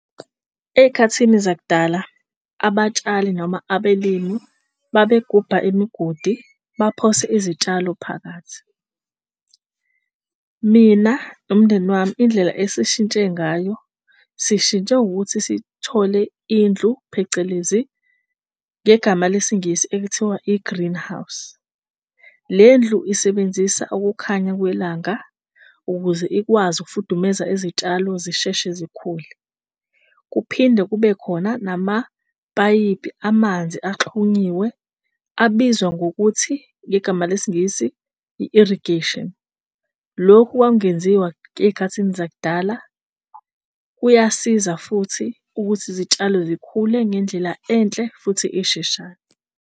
Ey'khathini zakudala abatshali noma abelimu babegubha imigodi baphose izitshalo phakathi. Mina nomndeni wami indlela esishintshe ngayo sishintshe ngokuthi sithole indlu phecelezi ngegama lesiNgisi ekuthiwa i-greenhouse. Le ndlu isebenzisa ukukhanya kwelanga ukuze ikwazi ukufudumeza izitshalo zisheshe zikhule. Kuphinde kube khona namapayipi amanzi axhunyiwe abizwa ngokuthi ngegama lesiNgisi i-irrigation. Lokhu kwakungenziwa ey'khathini zakudala. Kuyasiza futhi ukuthi izitshalo zikhule ngendlela enhle futhi esheshayo.